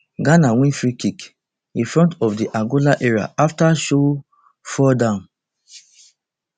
ghana win freekick in front of di angola area after show fould am